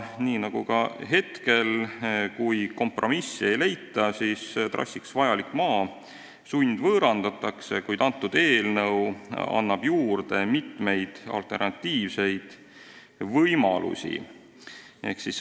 Nii nagu praegu, kui kompromissi ei leita, siis trassiks vajalik maa sundvõõrandatakse, kuid eelnõu annab juurde mitu alternatiivset võimalust.